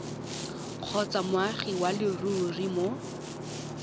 kgotsa moagi wa leruri mo